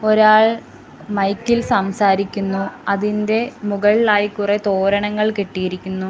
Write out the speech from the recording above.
ഒരാൾ മൈക്ക് ഇൽ സംസാരിക്കുന്നു അതിൻറെ മുകളിലായി കുറെ തോരണങ്ങൾ കെട്ടിയിരിക്കുന്നു.